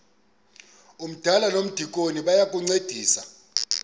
umdala nomdikoni bayancedisana